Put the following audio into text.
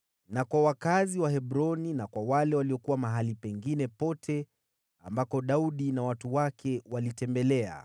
na kwa wakazi wa Hebroni; na kwa wale waliokuwa mahali pengine pote ambako Daudi na watu wake walitembelea.